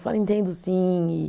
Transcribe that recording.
entendo sim, e